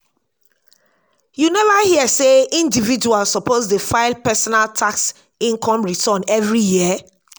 you neva hear sey individuals suppose dey file personal tax income return every year?